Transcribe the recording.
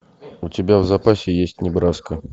у тебя в запасе есть небраска